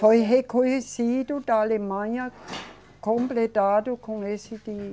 Foi reconhecido da Alemanha, completado com esse que